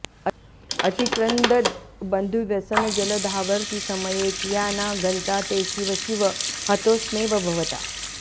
अतिक्रंदद्बंधुव्यसनजलधावर्ति समये कियानागंता ते शिव शिव हतोस्म्येव भवता